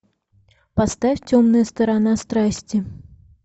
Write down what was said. поставь темная сторона страсти